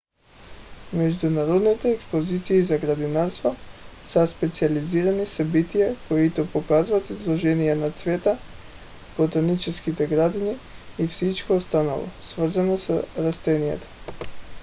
международните експозиции за градинарство са специализирани събития които показват изложения на цветя ботанически градини и всичко останало свързано с растенията